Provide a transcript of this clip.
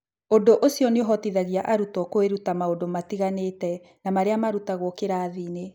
Ũndũ ũcio nĩ ũhotithagia arutwo kwĩruta maũndũ matiganĩte na marĩa marutagwo kĩrathiinĩ.